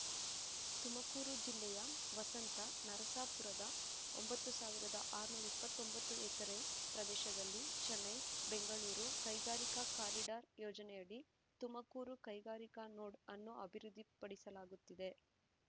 ತುಮಕೂರು ಜಿಲ್ಲೆಯ ವಸಂತ ನರಸಾಪುರದ ಒಂಬತ್ತು ಸಾವಿರದ ಆರುನೂರ ಇಪ್ಪತ್ತೊಂಬತ್ತು ಎಕರೆ ಪ್ರದೇಶದಲ್ಲಿ ಚೆನ್ನೈ ಬೆಂಗಳೂರು ಕೈಗಾರಿಕಾ ಕಾರಿಡಾರ್ ಯೋಜನೆಯಡಿ ತುಮಕೂರು ಕೈಗಾರಿಕಾ ನೋಡ್ ಅನ್ನು ಅಭಿವೃದ್ಧಿಪಡಿಸಲಾಗುತ್ತಿದೆ